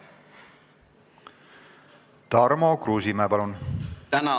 Tarmo Kruusimäe, palun!